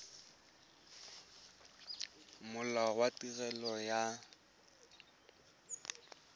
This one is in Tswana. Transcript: molao wa tirelo ya set